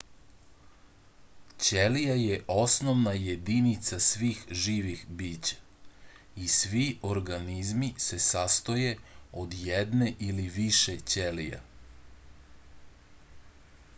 ćelija je osnovna jedinica svih živih bića i svi organizmi se sastoje od jedne ili više ćelija